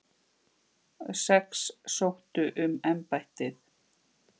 Sex sóttu um embættið.